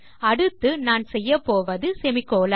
அடுத்து நான் செய்யப்போவது செமிகோலன்